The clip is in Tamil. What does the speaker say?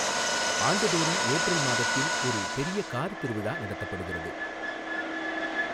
ஆண்டு தோறும் ஏப்ரல் மாதத்தில் ஒரு பொிய காா் திருவிழா நடத்தப்படுகிறது.